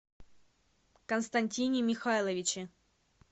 константине михайловиче